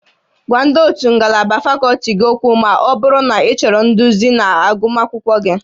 Gwa ndị ótú ngalaba fakọlti gị okwu ma ọ bụrụ na ịchọrọ nduzi na agụmakwụkwọ gị